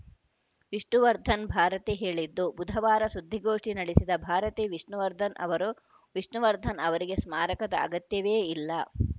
ವಿಷ್ಣುವರ್ಧನ್‌ ಭಾರತಿ ಹೇಳಿದ್ದು ಬುಧವಾರ ಸುದ್ದಿಗೋಷ್ಠಿ ನಡೆಸಿದ ಭಾರತಿ ವಿಷ್ಣುವರ್ಧನ್‌ ಅವರು ವಿಷ್ಣುವರ್ಧನ್‌ ಅವರಿಗೆ ಸ್ಮಾರಕದ ಅಗತ್ಯವೇ ಇಲ್ಲ